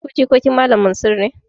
Ku jikokin Malam Mansur ne?